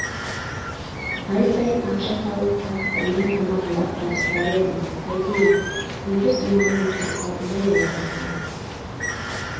ай сайын ақша салып тарықтырмай тамағыңды апарып тұрар едім қайтейін бүйтіп омалып отырып қалдым ғой аяқ астынан